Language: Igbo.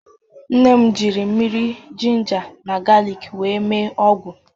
Nne m ji mmiri jinja na galiik wee mee ọgwụ